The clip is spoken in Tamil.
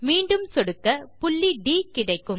மீண்டும் சொடுக்க புள்ளி ட் கிடைக்கும்